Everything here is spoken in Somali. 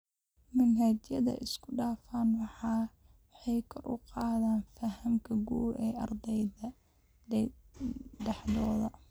Manhajyada isku dhafan waxay kor u qaadaan fahamka guud ee ardayda dhexdooda.